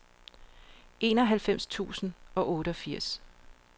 enoghalvfems tusind og toogfirs